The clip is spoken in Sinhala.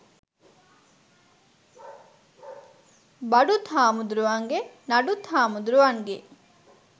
බඩුත් හාමුදුරුවන්ගේ නඩුත් හාමුදුරුවන්ගේ